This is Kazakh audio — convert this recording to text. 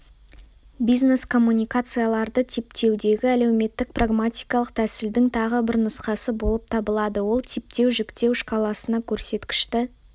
бизнес-коммуникацияларды типтеудегі әлеуметтік-прагматикалық тәсілдің тағы бір нұсқасы болып табылады ол типтеу жіктеу шкаласына көрсеткішті